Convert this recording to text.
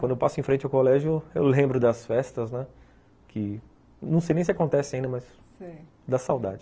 Quando eu passo em frente ao colégio, eu lembro das festas, né, que não sei nem se acontece ainda, mas dá saudade.